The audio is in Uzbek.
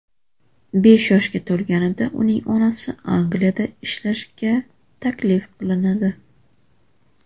Besh yoshga to‘lganida uning onasi Angliyada ishlashga taklif qilinadi.